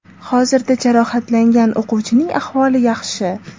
Hozirda jarohatlangan o‘quvchining ahvoli yaxshi.